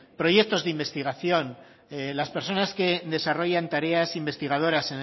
proyectos de investigación las personas que desarrollan tareas investigadoras